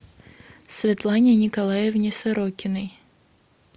светлане николаевне сорокиной